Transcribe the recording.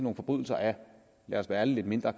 en forbrydelse af lad os være ærlige lidt mindre